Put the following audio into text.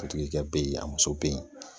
A tigi ka be yen a muso be yen